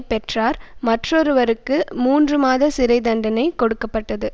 பெற்றார் மற்றொருவருக்கு மூன்று மாத சிறை தண்டனை கொடுக்க பட்டது